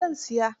Eh zan siyar.